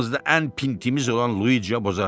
Aramızda ən pintimiz olan Luisia boğazdan.